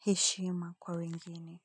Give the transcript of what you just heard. heshima, kwa wengine.